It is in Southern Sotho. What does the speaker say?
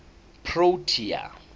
protea